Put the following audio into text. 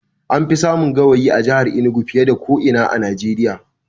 An fi samun gawayi a jahar Enugu fiye da ko ina a Najeriya